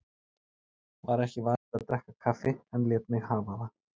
Var ekki vanur að drekka kaffi en lét mig hafa það.